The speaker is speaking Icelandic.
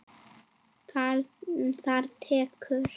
Það tekur